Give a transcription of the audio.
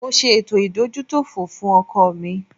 Mo ṣe ètò ìdójútòfò fún ọkọ̀ mi